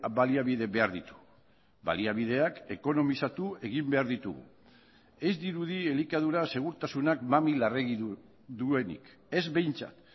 baliabide behar ditu baliabideak ekonomizatu egin behar ditugu ez dirudi elikadura segurtasunak mami larregi duenik ez behintzat